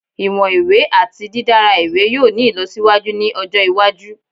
Iwọn iwe ati didara iwe yoo ni ilọsiwaju ni ọjọ iwaju